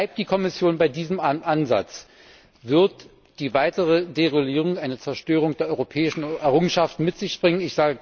Bleibt die Kommission bei diesem Ansatz, wird die weitere Deregulierung eine Zerstörung der europäischen Errungenschaften mit sich bringen.